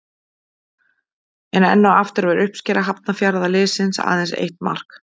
En enn og aftur var uppskera Hafnarfjarðarliðsins aðeins eitt mark.